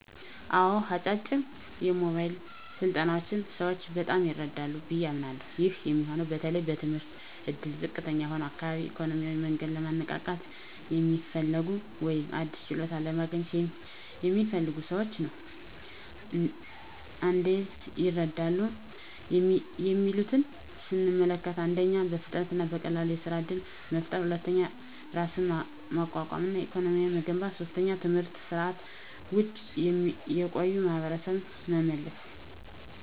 አዎ፣ አጫጭር የሞያ ስልጠናዎች ሰዎችን በጣም ይረዳሉ ብዬ አምናለሀ። ይህ የሚሆነው በተለይ በትምህርት እድል ዝቅተኛ በሆነ አካባቢ፣ በኢኮኖሚያዊ መንገድ ለማንቃት የሚፈልጉ፣ ወይም አዲስ ችሎታ ለማግኘት የሚፈልጉ ሰዎችን ነው። እንዴት ይረዳሉ የሚሉትን ስንመለከት፦ 1. በፍጥነት እና በቀላሉ የሥራ እድል መፍጠር 2. ራስን ማቋቋም እና ለኢኮኖሚ መገንባት 3. ከትምህርት ስርዓት ውጭ የቆዩ ማሀበረሰብን በመመለስ።